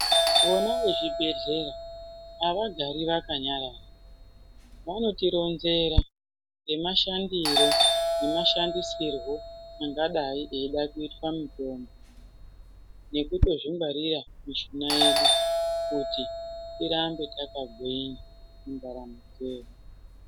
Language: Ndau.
Vona vechibhedhlera avagari vakanyarara vanotironzera ngemashandiro nemashandisirwo angadai eida kuitwa mitombo nekutozvingwarira mishuna yedu kuti tirambe takagwinya mundaramo dzedu.